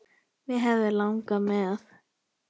Mig hefði langað með.